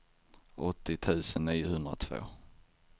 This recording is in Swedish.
åttio tusen niohundratvå